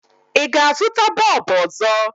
Ị ga-azụta bọọbụ ọzọ?